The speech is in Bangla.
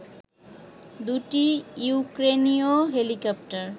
দুটি ইউক্রেনীয় হেলিকপ্টার